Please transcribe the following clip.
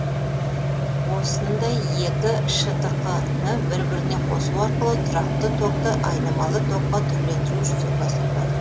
осындай екі штқ ны бір біріне қосу арқылы тұрақты токты айнымалы токқа түрлендіру жүзеге асырылады